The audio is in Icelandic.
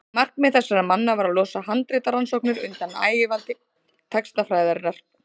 markmið þessara manna var að losa handritarannsóknir undan ægivaldi textafræðinnar